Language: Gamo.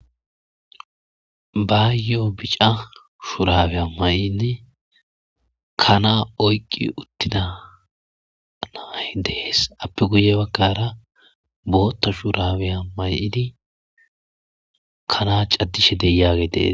ba yo7o bica shuraweya may7inne kanaa oyqqi uttida nay dees appe guye bagkara bootta shuraweya may7ini kana caddishe de yaage dees